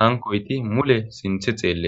hankoyti mule sinthe xeeletes